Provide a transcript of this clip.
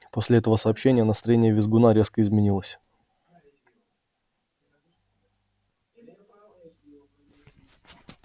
после этого сообщения настроение визгуна резко изменилось